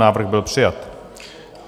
Návrh byl přijat.